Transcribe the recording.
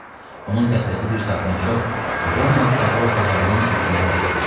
Onun dəstəsi bir saatdan çox Roma kaqortalarının hücumunu dəf edir.